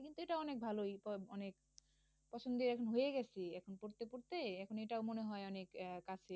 এটাও অনেক ভালোই অনেক পছন্দের এখন হয়ে গেছে। এখন পড়তে পড়তে এখন এটাও মনে হয় অনেক আহ কাছের।